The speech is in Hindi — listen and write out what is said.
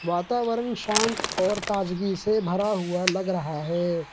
वातावरण शांत और ताजगी से भरा हुआ लग रहा है।